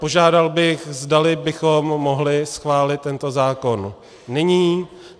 Požádal bych, zdali bychom mohli schválit tento zákon nyní.